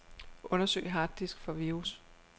Undersøg harddisk for virus.